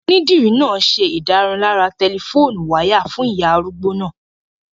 Onídìrí náà n ṣe ìdárunlárà tẹlifóònù wáyà fún ìyá arúgbó náà